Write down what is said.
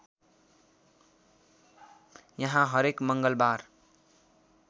यहाँ हरेक मङ्गलबार